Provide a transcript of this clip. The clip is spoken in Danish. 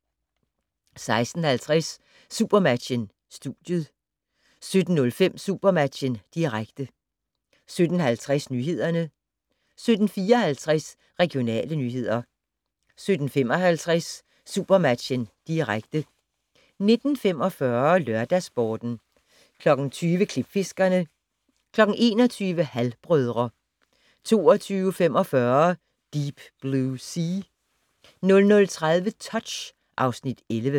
16:50: SuperMatchen: Studiet 17:05: SuperMatchen, direkte 17:50: Nyhederne 17:54: Regionale nyheder 17:55: SuperMatchen, direkte 19:45: LørdagsSporten 20:00: Klipfiskerne 21:00: Halv-brødre 22:45: Deep Blue Sea 00:30: Touch (Afs. 11)